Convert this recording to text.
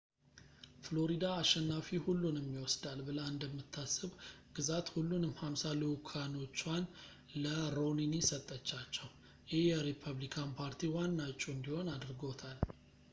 ፍሎሪዳ አሸናፊ-ሁሉንም ይወስዳል ብላ እንደምታስብ ግዛት ሁሉንም ሃምሳ ልዑካኖቹዋን ለሮኒኒ ሰጠቻቸው ይህ የሪፐብሊካን ፓርቲ ዋና ዕጩ እንዲሆን አድርጎታል